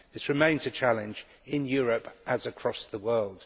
This remains a challenge in Europe as across the world.